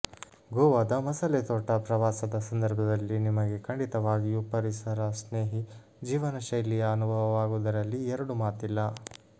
ಗೋವಾದ ಮಸಾಲೆ ತೋಟ ಪ್ರವಾಸದ ಸಂದರ್ಭದಲ್ಲಿ ನಿಮಗೆ ಖಂಡಿತಾಗಿಯೂ ಪರಿಸರ ಸ್ನೇಹಿ ಜೀವನ ಶೈಲಿಯ ಅನುಭವವಾಗುವುದರಲ್ಲಿ ಎರಡು ಮಾತಿಲ್ಲ